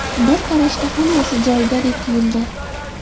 Bir qarashda hammasi joyidadek tuyuldi.